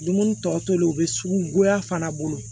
Dumuni tɔ tolen u bɛ sugu goya fana bolo